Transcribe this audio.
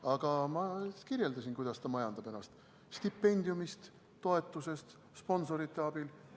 Aga ma kirjeldasin, kuidas ta ennast majandab: stipendiumist, toetusest, sponsorite abil.